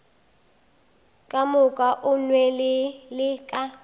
ka moka o nwelele ka